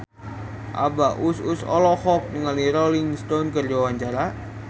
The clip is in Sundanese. Abah Us Us olohok ningali Rolling Stone keur diwawancara